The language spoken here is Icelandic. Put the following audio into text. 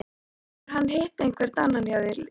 Hefur hann hitt einhvern annan hjá liðinu?